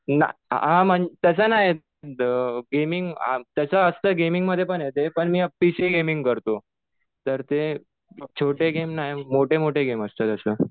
हा म्हणजे तसं नाही. गेमिंग तसं असतं, गेमिंगमध्ये पण आहे ते. पण मी पीसी गेमिंग करतो. तर ते छोटे गेम नाही, मोठे मोठे गेम असतात असं.